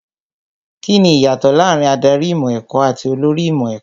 Kíni ìyàtọ̀ láàárín Ádárì ìmọ̀ ẹ̀kọ́ àti olórí ìmọ̀ ẹ̀kọ́?